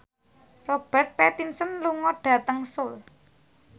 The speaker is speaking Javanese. Robert Pattinson lunga dhateng Seoul